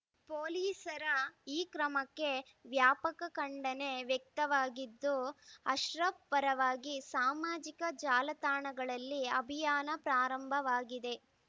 ಪೊಲೀಸರ ಈ ಕ್ರಮಕ್ಕೆ ವ್ಯಾಪಕ ಖಂಡನೆ ವ್ಯಕ್ತವಾಗಿದ್ದು ಅಶ್ರಫ್‌ ಪರವಾಗಿ ಸಾಮಾಜಿಕ ಜಾಲತಾಣಗಳಲ್ಲಿ ಅಭಿಯಾನ ಪ್ರಾರಂಭವಾಗಿದೆ